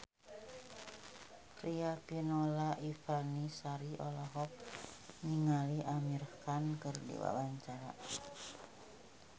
Riafinola Ifani Sari olohok ningali Amir Khan keur diwawancara